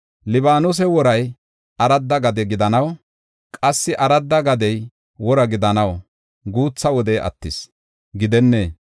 Libaanose woray aradda gade gidanaw; qassi aradda gadey wora gidanaw guutha wodey attis gidennee?